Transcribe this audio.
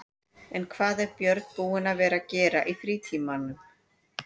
En hvað er Björn búinn að vera að gera í frítímanum?